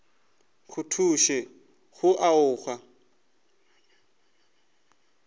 go thuše go o aga